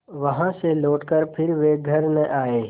वहाँ से लौटकर फिर वे घर न आये